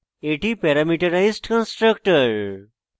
এটি parameterized constructor